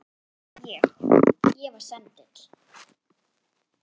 Ég. ég var sendill